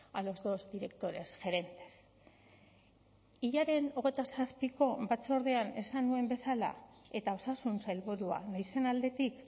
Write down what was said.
a los dos directores gerentes hilaren hogeita zazpiko batzordean esan nuen bezala eta osasun sailburua naizen aldetik